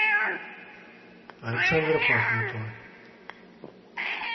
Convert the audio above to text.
александра пахмутова